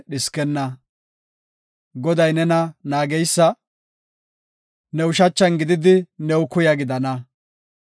Goday nena naageysa; ne ushachan gididi, new kuya gidana.